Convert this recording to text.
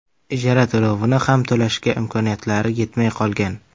Ijara to‘lovini xam to‘lashga imkoniyatlari yetmay qolgan.